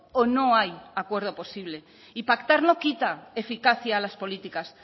o no hay acuerdo posible y pactar no quita eficacia a las políticas